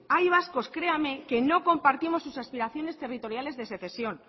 hay vascos créame que no compartimos sus aspiraciones territoriales de secesión